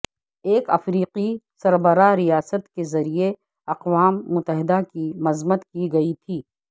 ایک افریقی سربراہ ریاست کے ذریعہ اقوام متحدہ کی مذمت کی گئی تھی